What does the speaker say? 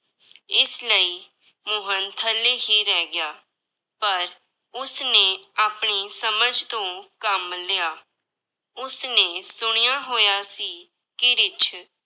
ਇਸ ਲਈ ਮੋਹਨ ਥੱਲੇ ਹੀ ਰਹਿ ਗਿਆ, ਪਰ ਉਸਨੇ ਆਪਣੀ ਸਮਝ ਤੋਂ ਕੰਮ ਲਿਆ, ਉਸਨੇ ਸੁਣਿਆ ਹੋਇਆ ਸੀ ਕਿ ਰਿੱਛ